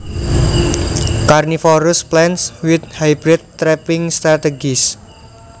Carnivorous plants with hybrid trapping strategies